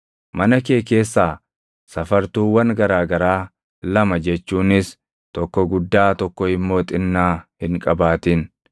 Mana kee keessaa safartuuwwan garaa garaa lama jechuunis tokko guddaa tokko immoo xinnaa hin qabaatin.